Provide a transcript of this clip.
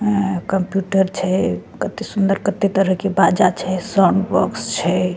अ computer छे कते सुंदर कते तरह के बाजा छे साउंड बॉक्स छे।